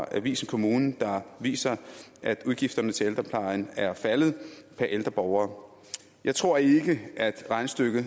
avisen kommunen der viser at udgifterne til ældreplejen er faldet per ældre borger jeg tror ikke at regnestykket